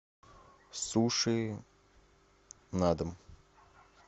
суши на дом